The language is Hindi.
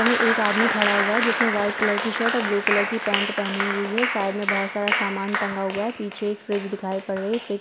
में एक आदमी खड़ा हुआ है जिसने व्हाइट कलर की शर्ट और ब्लू कलर की पैन्ट पहनी हुई है साइड में बोहोत सारा समान टंगा हुआ है पीछे एक फ्रिज दिखाई पड़ रही है फ्रीज --